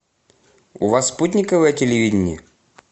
у вас спутниковое телевидение